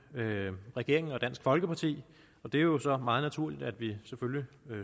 regeringen og dansk folkeparti og det er jo så meget naturligt at vi